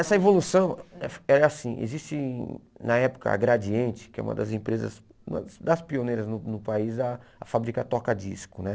Essa evolução é é assim, existe na época a Gradiente, que é uma das empresas, uma das pioneiras no no país, a a fabricar toca-disco né